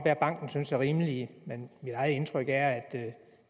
at banken synes er rimelige men mit eget indtryk er at det